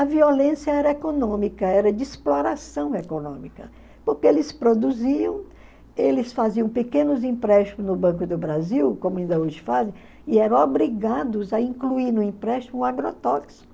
A violência era econômica, era de exploração econômica, porque eles produziam, eles faziam pequenos empréstimos no Banco do Brasil, como ainda hoje fazem, e eram obrigados a incluir no empréstimo um agrotóxico.